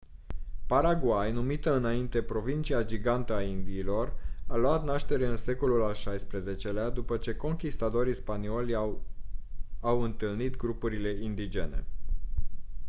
paraguay numită înainte «provincia gigantică a indiilor» a luat naștere în secolul al xvi-lea după ce conchistadorii spanioli i-au au întâlnit grupurile indigene.